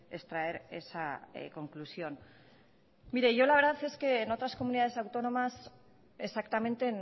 extraer esa conclusión mire yo la verdad es que en otras comunidades autónomas exactamente